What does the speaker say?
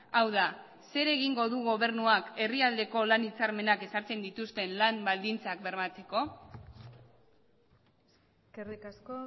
hau da zer egingo du gobernuak herrialdeko lan hitzarmenak ezartzen dituzten lan baldintzak bermatzeko eskerrik asko